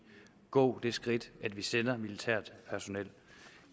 gå det skridt at vi sender militært personel